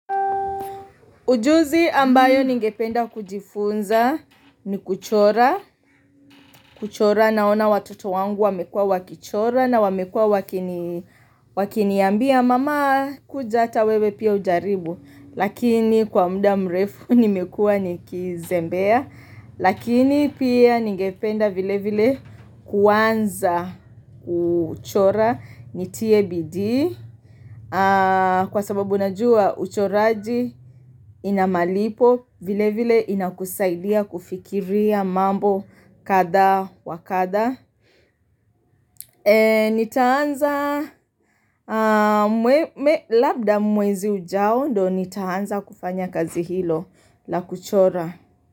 Ujuzi ambayo ningependa kujifunza ni kuchora. Kuchora naona watoto wangu wamekua wakichora na wamekua wakiniambia. Mama kuja ata wewe pia ujaribu. Lakini kwa muda mrefu nimekua nikizembea. Lakini pia ningependa vile vile kuanza kuchora nitie bidii kwa sababu unajua uchoraji inamalipo vile vile inakusaidia kufikiria mambo kadha wakadha Nitaanza labda mwezi ujao ndio nitaanza kufanya kazi hilo la kuchora.